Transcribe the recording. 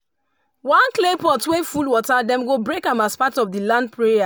one clay pot wey full water dem go break am as part of the land prayer.